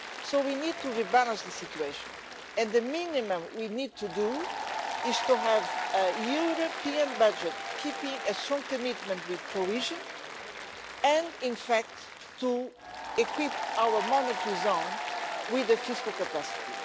So we need to rebalance the situation, and the minimum we need to do is to have a European budget keeping a strong commitment with cohesion and to equip our monetary zone with a fiscal capacity.